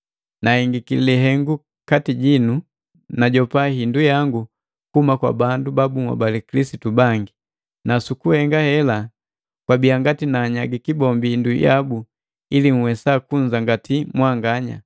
Nahengiki lihengu kati jinu, najopa hindu yangu kuhuma kwa bandu ba bunhobali Kilisitu bangi, na sukuhenga hela kwabia ngati naanyagiki bombi hindu yabu ili nhwesa kunzangati mwanganya.